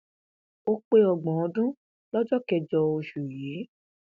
ó pé ọgbọn ọdún lọjọ kẹjọ oṣù yìí